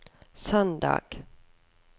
søndag